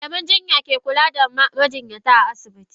Malaman jinya ke kula da majinyata a asibiti.